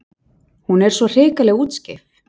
Hún er svo hrikalega útskeif.